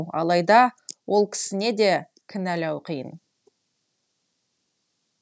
алайда ол кісіне де кінәлау қиын